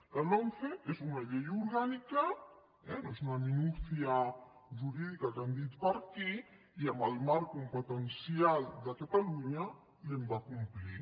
la lomce és una llei orgànica eh no és una minucia jurídica que han dit per aquí i en el marc competencial de catalunya l’hem de complir